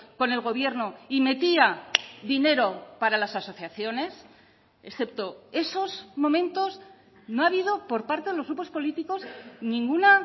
con el gobierno y metía dinero para las asociaciones excepto esos momentos no ha habido por parte de los grupos políticos ninguna